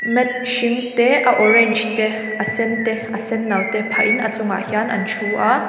mat hring te a orange te a sen te a sen no te phah in a chungah hian an thu a.